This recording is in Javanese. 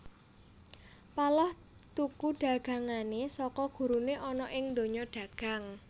Paloh tuku dagangané saka guruné ana ing donya dagang